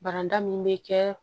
Baran min be kɛ